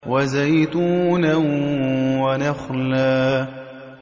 وَزَيْتُونًا وَنَخْلًا